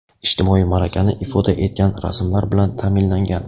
ijtimoiy malakani ifoda etgan rasmlar bilan taʼminlangan.